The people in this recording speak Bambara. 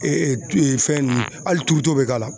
fɛn ninnu hali turuto bɛ k'a la.